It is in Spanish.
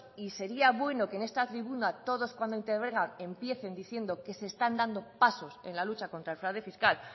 y sería bueno que en esta tribuna todos cuando intervengan empiecen diciendo que se están dando pasos en lucha contra el fraude fiscal